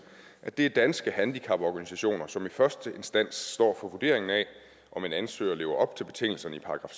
at det er danske handicaporganisationer som i første instans står for vurderingen af om en ansøger lever op til betingelserne i §